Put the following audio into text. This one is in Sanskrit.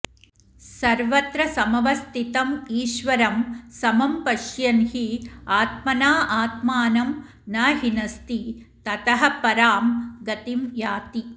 सर्वत्र समवस्थितम् ईश्वरं समं पश्यन् हि आत्मना आत्मानं न हिनस्ति ततः परां गतिं याति